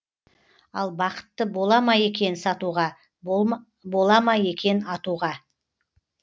ал бақытты бола ма екен сатуға бола ма екен атуға